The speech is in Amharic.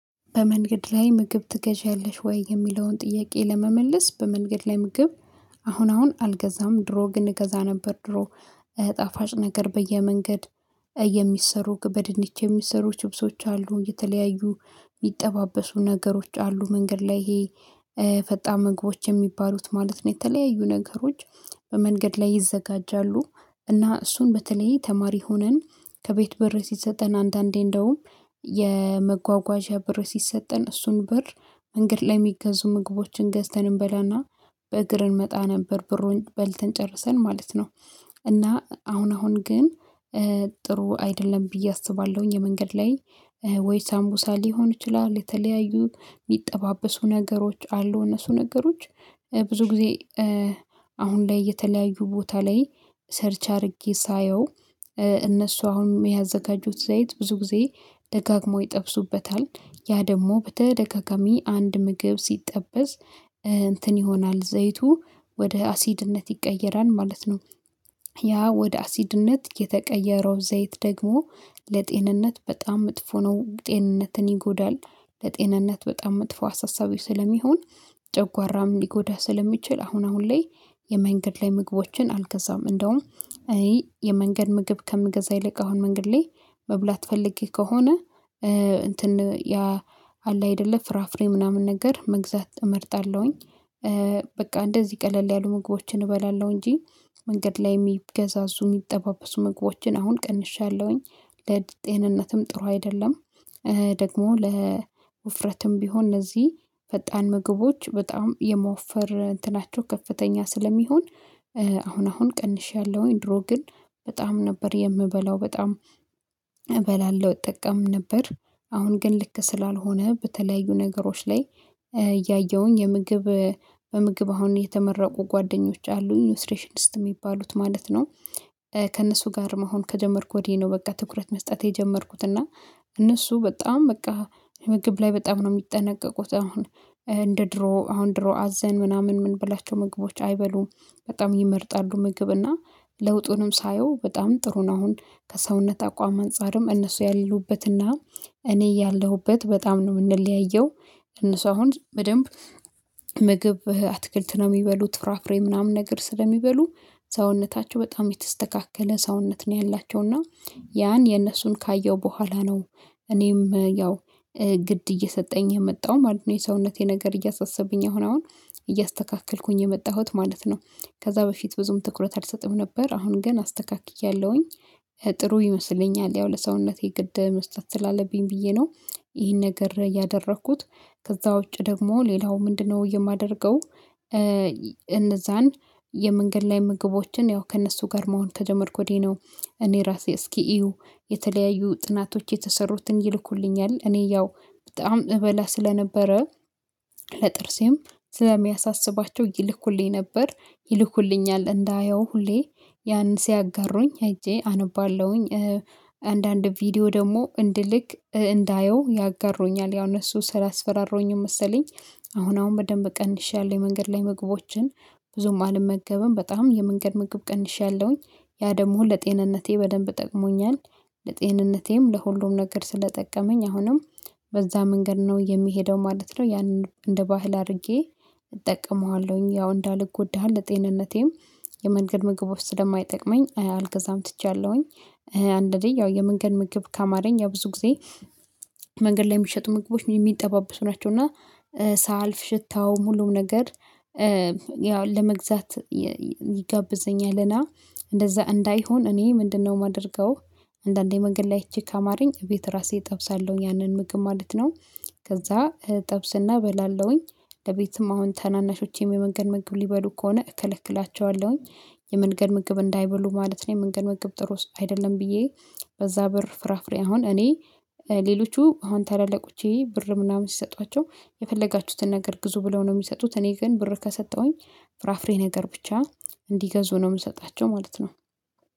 በመንገድ ላይ ምግብ ትገዣለሽ ወይ? የሚለውን ጥያቄ ለመመለስ በመንገድ ላይ ምግብ አሁን አሁን አልገዛም ድሮ ግን እገዛ ነበር። ድሮ ጣፋጭ ነገር በየመንገድ የሚሰሩ በድንች የሚሰሩ ችብሶች አሉ የተለያዩ የሚጠባበሱ ነገሮች አሉ። መንገድ ላይ ይሄ ፈጣን ምግቦች የሚባሉት ማለት ነው። የተለያዩ ነገሮች በመንገድ ላይ ይዘጋጃሉ። እና እሱን በተለይ ተማሪ ሆነን ከቤት ብር ሲሰጠን አንዳንዴ እንደውም የመጓጓዣ ብር ሲሰጠን እሱን ብር መንገድ ላይ የሚገዙ ምግቦችን ገዝተን እንበላና በእግር እንመጣ ነበር ብሩን በልተን ጨርሰን ማለት ነው። እና አሁን አሁን ግን ጥሩ አይደለም ብዬ አስባለሁኝ። የመንገድ ላይ ወይ ሳምቡሳ ሊሆን ይችላል። የተለያዩ ሚጠባበሱ ነገሮች አሉ እነሱ ነገሮች ብዙ ጊዜ አሁን ላይ የተለያዩ ቦታ ላይ ሰርች አድርጌ ሳየው። እነሱ አሁን የሚያዘጋጁት ዘይት ብዙ ጊዜ ደጋግሞ ይጠብሱበታል። ያ ደግሞ በተደጋጋሚ አንድ ምግብ ሲጠበስ እንትን ይሆናል ዘይቱ ወደ አሲድነት ይቀየራል ማለት ነው። ያ ወደ አሲድነት የተቀየረው ዘይት ደግሞ ለጤንነት በጣም መጥፎ ነው ጤንነትን ይጎዳል። ለጤንነት በጣም መጥፎ አሳሳቢ ስለሚሆን ጨጓራም ሊጎዳ ስለሚችል አሁን አሁን ላይ የመንገድ ላይ ምግቦችን አልገዛም። እንደውም እኔ የመንገድ ምግብ ከምገዛ ይልቅ አሁን መንገድ ላይ መብላት ፈልጌ ከሆነ እንትን ያ አለ አይደለ ፍራፍሬ ምናምን ነገር መግዛት እመርጣለሁኝ። በቃ እንደዚህ ቀለል ያሉ ምግቦችን እበላለሁ እንጂ መንገድ ላይ የሚገዛዙ የሚጠባበሱ ምግቦችን አሁን ቀንሻለሁኝ ለጤንነትም ጥሩ አይደለም። ደግሞ ለውፍረትም ቢሆን እነዚህ ፈጣን ምግቦች በጣም የማወፈር እንትናቸው ከፍተኛ ስለሚሆን። አሁን አሁን ቀንሻለሁኝ ድሮ ግን በጣም ነበር የምበላው በጣም እበላለሁ እጠቀም ነበር። አሁን ግን ልክ ስላልሆነ በተለያዩ ነገሮች ላይ እያየሁኝ የምግብ በምግብ አሁን የተመረቁ ጓደኞች አሉኝ ኒውትሪሽኒስት የሚባሉት ማለት ነው። ከእነሱ ጋር መሆን ከጀመርኩ ወዲህ ነው በቃ ትኩረት መስጠት የጀመርኩት እና እነሱ በጣም በቃ ምግብ ላይ በጣም ነው የሚጠነቀቁት አሁን። እንደ ድሮ አሁን ድሮ አዘን ምናምን ምንበላቸው ምግቦች አይበሉም። በጣም ይመርጣሉ ምግብ እና ለውጡንም ሳየው በጣም ጥሩ ነው። አሁን ከሰውነት አቋም አንፃርም እነሱ ያሉበትና እኔ ያለሁበት በጣም ነው የምንለያየው። እነሱ አሁን በደንብ ምግብ አትክልት ነው የሚበሉት ፍራፍሬ ምናምን ነገር ስለሚበሉ ሰውነታቸው በጣም የተስተካከለ ሰውነት ነው ያላቸው። እና ያን የነሱን ካየው በኋላ ነው እኔም ያው ግድ እየሰጠኝ የመጣሁ ማለት ነው። የሰውነቴ ነገር እያሳሰብኝ አሁን አሁን እያስተካከልኩኝ የመጣሁት ማለት ነው። ከዛ በፊት ብዙም ትኩረት አልሰጥም ነበር አሁን ግን አስተካክያለሁኝ። ጥሩ ይመስለኛል ያው ለሰውነቴ ግድ መስጠት ስላለብኝ ብዬ ነው ይሄን ነገር ያደረኩት። ከዛ ውጪ ደግሞ ሌላው ምንድነው የማደርገው? እነዛን የመንገድ ላይ ምግቦችን ያው ከእነሱ ጋር መሆን ከጀመርኩ ወዲህ ነው። እኔ ራሴ እስኪ እዩ የተለያዩ ጥናቶች የተሰሩትን ይልኩልኛል እኔ ያው በጣም እበላ ስለነበረ ለጥርሴም ስለሚያሳስባቸው ይልኩልኝ ነበር ይልኩልኛል እንዳየው ሁሌ ያንን ሲያጋሩኝ ሄጄ አነባለሁኝ። አንዳንድ ቪዲዮ ደግሞ እንድልክ እንዳየው ያጋሩኛል ያው እነሱ ስላስፈራሩኝም መሰለኝ። አሁን አሁን በደንብ ቀንሼያለሁ የመንገድ ላይ ምግቦችን። ብዙም አልመገብም በጣም የመንገድ ምግብ ቀንሼያለሁኝ። ያ ደግሞ ለጤንነቴ በደንብ ጠቅሞኛል። ለጤንነቴም ለሁሉም ነገር ስለጠቀመኝ አሁንም በዛ መንገድ ነው የምሄደው ማለት ነው። ያንን እንደ ባህል አድርጌ እጠቀመዋለሁኝ ያው እንዳልጎዳ ለጤንነቴም የመንገድ ምግቦች ስለማይጠቅመኝ አልገዛም ትቻለሁኝ። አንዳንዴ ያው የመንገድ ምግብ ካማረኝ ያ ብዙ ጊዜ መንገድ ላይ የሚሸጡ ምግቦች የሚጠባበሱ ናቸው። እና ሳልፍ ሽታው ሁሉም ነገር ያው ለመግዛት ይጋብዘኛልና እንደዛ እንዳይሆን እኔ ምንድነው የማደርገው? አንዳንዴ መንገድ ላይ አይቼ ካማረኝ ቤት ራሴ እጠብሳለሁኝ ያንን ምግብ ማለት ነው። ከዛ እጠብስና በላለሁኝ ለቤትም አሁን ታናናሾቼም የመንገድ ምግብ ሊበሉ ከሆነ እከለክላቸዋለሁኝ። የመንገድ ምግብ እንዳይበሉ ማለት ነው የመንገድ ምግብ ጥሩ አይደለም። ብዬ በዛ ብር ፍራፍሬ አሁን እኔ ሌሎቹ አሁን ታላላቆቼ ብር ምናምን ሲሰጧቸው የፈለጋችሁትን ነገር ግዙ ብለው ነው የሚሰጡት እኔ ግን ብር ከሰጠሁኝ ፍራፍሬ ነገር ብቻ እንዲገዙ ነው የምሰጣቸው ማለት ነው።